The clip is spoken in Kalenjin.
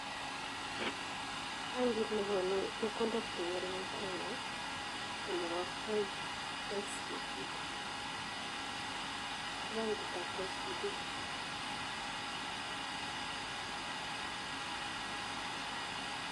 Benkiit nnekonuu chepkondook chengering en kenyaa koneboo paid KCB,Ko benkiitab kcb.